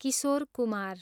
Kishore Kumar